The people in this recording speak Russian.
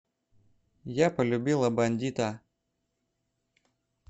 я полюбила бандита